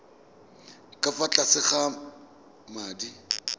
ka fa tlase ga madi